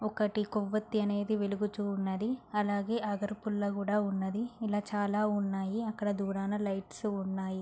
ఒకటి కొవ్వొత్తి అనేది వెలుగుతూ ఉన్నది. అలాగే అదర్ పుల్ల కూడా ఉన్నది. ఇలా చాలా ఉన్నాయి అక్కడ దూరాన లైట్స్ ఉన్నాయి.